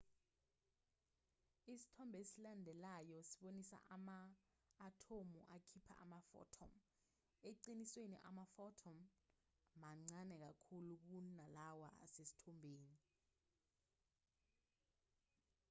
isithombe esilandelayo sibonisa ama-athomu akhipha ama-photon eqinisweni ama-photon mancane kakhulu kunalawa asesithombeni